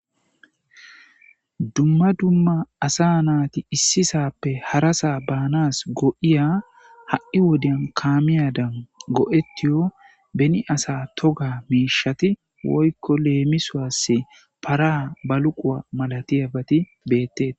Dumma dumma asa na7ati issi sa7appe harasa baanaw go7iya ha7i wodiyan kaamiyadan go7etiyoba asa toga miishshati leemisuwassi:- para, baluquwa, malatiyabati beetettees.